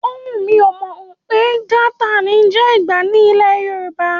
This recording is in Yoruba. Ówù, mi ò mọ̀ pé Gauta ní ń jẹ́ Ìgbá ní ilẹ̀ Yorùbá.